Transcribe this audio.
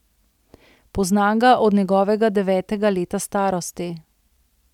Poznam ga od njegovega devetega leta starosti.